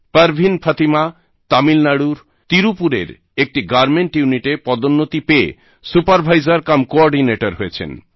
পারবিন ফাতিমা তামিলনাড়ুর ত্রিপুরের একটি গার্মেন্ট ইউনিটে পদোন্নতি পেয়ে সুপারভাইজারকামকোঅর্ডিনেটর হয়েছেন